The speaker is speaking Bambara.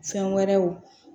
Fɛn wɛrɛw